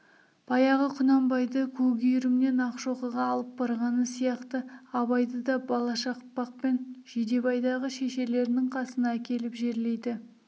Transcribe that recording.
баяғы құнанбайды көкүйірімнен ақшоқыға алып барғаны сияқты абайды да балашақпақтан жидебайдағы шешелерінің қасына әкеліп жерлейді